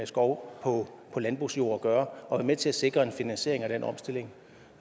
skov på landbrugsjord at gøre og være med til at sikre en finansiering af den omstilling